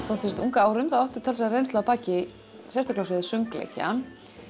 þó þú sért ung að árum áttu talsverða reynslu að baki sérstaklega á sviði söngleikja